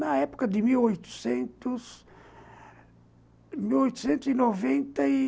Na época de mil oitocentos, mil oitocentos e noventa e...